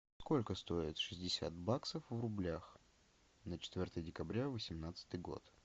сколько стоит шестьдесят баксов в рублях на четвертое декабря восемнадцатый год